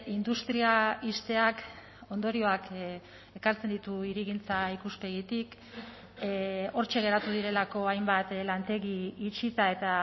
industria ixteak ondorioak ekartzen ditu hirigintza ikuspegitik hortxe geratu direlako hainbat lantegi itxita eta